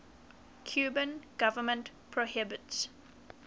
cuban government prohibits